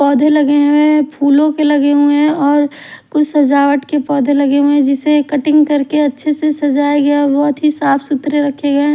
पौधे लगे हुए है फूलों के लगे हुए हैं और कुछ सजावट के पौधे लगे हुए हैं जिसे कटिंग करके अच्छे से सजाए गए और बहुत ही साफ सूत्र रखे गए हैं।